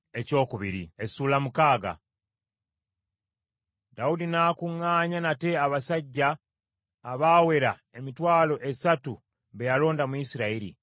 Dawudi n’akuŋŋaanya nate abasajja abaawera emitwalo esatu be yalonda mu Isirayiri.